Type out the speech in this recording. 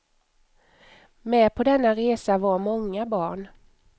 Med på denna resa var många barn.